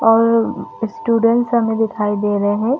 और स्टूइडेण्ट्स हमें दिखाई दे रहै है।